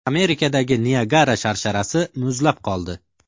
Amerikadagi Niagara sharsharasi muzlab qoldi.